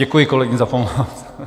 Děkuji kolegům za pomoc.